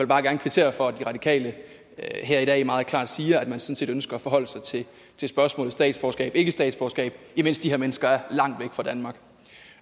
bare gerne kvittere for at de radikale her i dag meget klart siger at man sådan set ønsker at forholde sig til spørgsmålet statsborgerskabikkestatsborgerskab imens de her mennesker er langt væk fra danmark